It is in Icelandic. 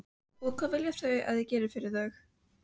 Og hvað vilja þau að ég geri fyrir þau?